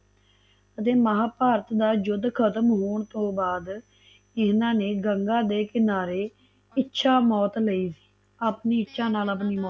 ਅਤੇ ਮਹਾਭਾਰਤ ਦਾ ਯੁੱਧ ਖਤਮ ਹੋਣ ਤੋਂ ਬਾਅਦ ਇਹਨਾਂ ਨੇ ਗੰਗਾਂ ਦੇ ਕਿਨਾਰੇ ਇੱਛਾ ਮੌਤ ਲਈ ਸੀ ਆਪਣੀ ਇੱਛਾ ਨਾਲ ਆਪਣੀ ਮੌਤ